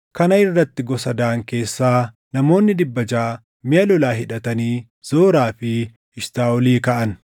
Kana irratti gosa Daan keessaa namoonni dhibba jaʼa miʼa lolaa hidhatanii Zoraa fi Eshitaaʼolii kaʼan.